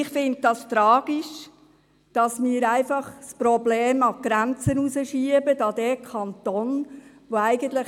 Ich finde es tragisch, dass wir das Problem einfach an die Grenze des Kantons hinausschieben.